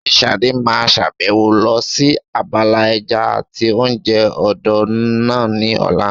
Ṣé Ṣadé máa sàbẹ̀wò lọ sí abala ẹja àti oúnjẹ odò náà ní ọ̀la?